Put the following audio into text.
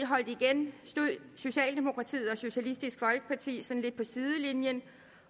holdt igen stod socialdemokratiet og socialistisk folkeparti sådan lidt på sidelinjen